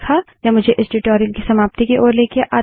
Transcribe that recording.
यह मुझे इस ट्यूटोरियल की समाप्ति की ओर लाता है